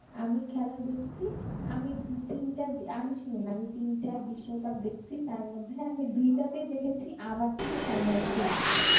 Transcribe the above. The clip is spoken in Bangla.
আমি খেলা দেখছি আমি তিনটা আমি শুনুন আমি তিনটা বিশ্বকাপ দেখছি তার মধ্যে আমি দুইটাতেই দেখেছি আমার team final খেলছে